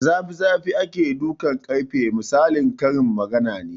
Da zafi zafi ake dukan ƙarfe misalin karin magana ne